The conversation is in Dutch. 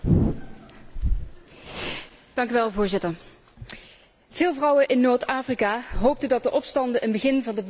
Voorzitter, veel vrouwen in Noord Afrika hoopten dat de opstanden een begin van de verbetering van hun situatie zouden betekenen.